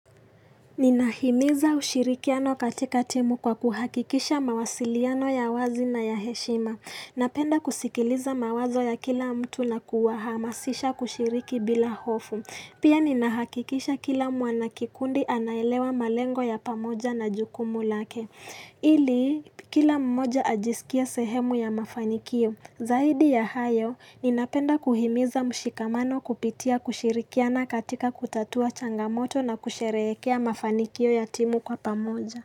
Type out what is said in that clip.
Ninahimiza ushirikiano katika timu kwa kuhakikisha mawasiliano ya wazi na ya heshima. Napenda kusikiliza mawazo ya kila mtu na kuwa hamasisha kushiriki bila hofu. Pia ninahakikisha kila mwanakikundi anaelewa malengo ya pamoja na jukumu lake. Ili, kila mmoja ajisikia sehemu ya mafanikio. Zaidi ya hayo, ninapenda kuhimiza mshikamano kupitia kushirikiana katika kutatua changamoto na kusherehekea mafanikio yatimu kwa pamoja.